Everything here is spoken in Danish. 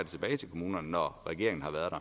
tilbage til kommunerne når regeringen har været